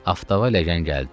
Aftafa ləyən gəldi.